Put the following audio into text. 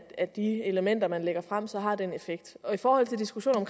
at de elementer man lægger frem så har den effekt og i forhold til diskussionen